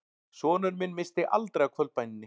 Sonur minn missti aldrei af kvöldbæninni